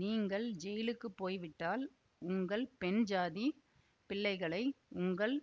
நீங்கள் ஜெயிலுக்குப் போய் விட்டால் உங்கள் பெண்ஜாதி பிள்ளைகளை உங்கள்